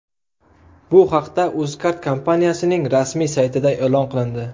Bu haqda UzCard kompaniyasining rasmiy saytida e’lon qilindi .